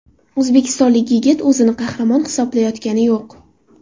O‘zbekistonlik yigit o‘zini qahramon hisoblayotgani yo‘q.